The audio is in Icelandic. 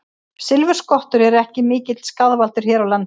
Silfurskottur eru ekki mikill skaðvaldur hér á landi.